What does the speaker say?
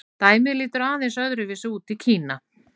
dæmið lítur aðeins öðru vísi út í kína